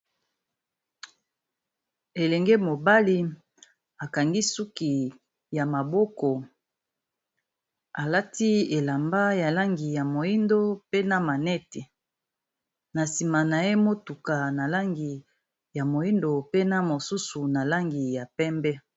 Elenge mobali akangi suki ya maboko, alati elamba ya langi ya moyindo pe na maneti. Na nsima na ye motuka na langi ya moyindo, pe na mosusu na langi ya pembe.